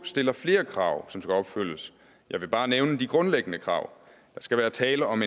stiller flere krav som skal opfyldes jeg vil bare nævne de grundlæggende krav der skal være tale om